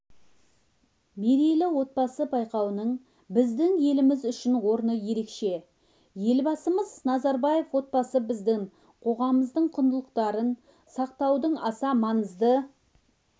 мерейлі отбасы байқауының біздің еліміз үшін орны ерекше елбасымыз назарбаев отбасыбіздің қоғамымыздың құндылықтарын сақтаудың аса маңызды